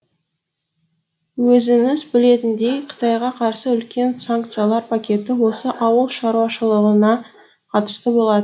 өзіңіз білетіндей қытайға қарсы үлкен санкциялар пакеті осы ауыл шаруашылығына қатысты болады